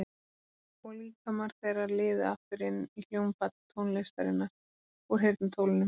Og líkamar þeirra liðu aftur inn í hljómfall tónlistarinnar úr heyrnartólunum.